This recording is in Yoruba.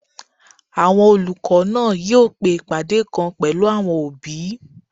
Àwọn olùkọ́ náà yóò pe ìpàdé kan pẹ̀lú àwọn òbí